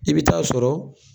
I bi ta'a sɔrɔ